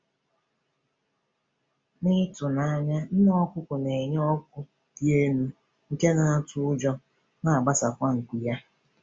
N’ịtụ n’anya, nne ọkụkọ na-enye oku dị elu nke na-atọ ụjọ, na-agbatakwa nku ya.